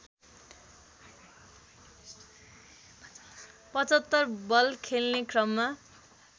७५ बल खेल्ने क्रममा